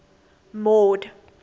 mord